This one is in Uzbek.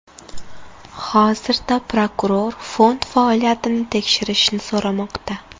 Hozirda prokuror fond faoliyatini tekshirishni so‘ramoqda.